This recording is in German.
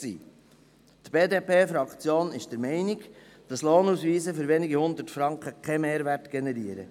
Die BDP-Fraktion ist der Meinung, dass Lohnausweise für wenige Hundert Franken keinen Mehrwert generieren.